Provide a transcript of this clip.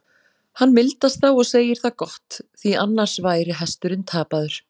Hann mildast þá og segir það gott, því annars væri hesturinn sér tapaður.